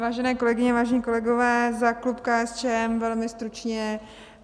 Vážené kolegyně, vážení kolegové, za klub KSČM velmi stručně.